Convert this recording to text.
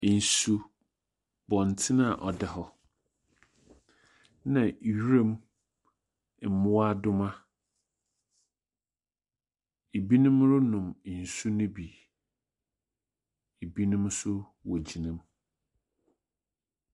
Nsuo, bɔntene a ɔda hɔ, na nwuram mmoadoma. Ebinom renom nsuo no bi. Ebinom nso wogyinam.